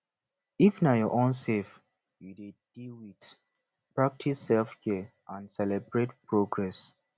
if na your own self you dey deal with practice selfcare and celebrate progress